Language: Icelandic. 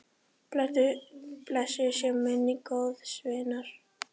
Blessuð sé minning góðs vinar.